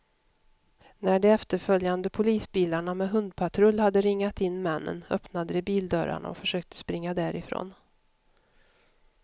När de efterföljande polisbilarna med hundpatrull hade ringat in männen, öppnade de bildörrarna och försökte springa därifrån.